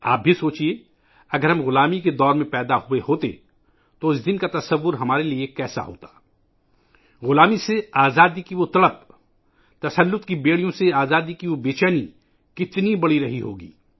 آپ بھی سوچیئے ، اگر ہم غلامی کے دور میں پیدا ہوئے ہوتے تو اس دن کا تصور ہمارے لئے کیسا ہوتا ؟ غلامی سے نجات کی وہ تڑپ، غلامی کی زنجیروں سے آزادی کی وہ بے چینی کتنی زیادہ رہی ہوگی